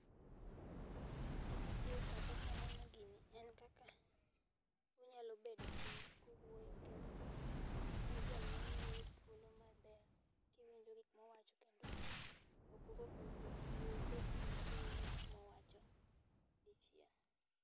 gima biro e pacha kaneno gini en kaka unyalo bet piny kuwuoyo kendo imiyo janyuol wuoyo thuolo maber kiwinjo gik mowacho kendo ok ugo koko kuwuoyo ubet piny kuwinjo gik mowacho dichiel